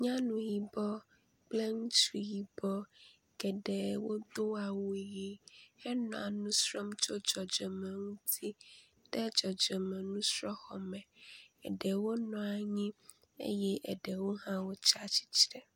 Nyɔnu yibɔ kple ŋutsu yibɔ geɖe wodo awu ʋi henɔ nu srɔ̃m tso dzɔdzɔme ŋuti le dzɔdzɔme nusrɔ̃xɔme. Aɖewo nɔ anyi eye aɖewo hã tsia tsitre.